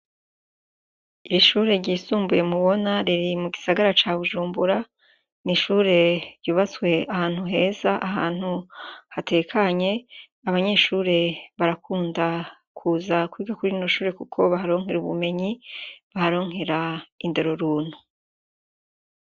Ishuri ryisumbuye mu bona riri mu gisagara ca bujumbura n'ishuri ryubatse ahantu heza ahantu hatekanye abanyeshuri barakunda kuza kwiga kuri rino shuri kuko baharonkera ubunyenyi baharonkera indero runtu.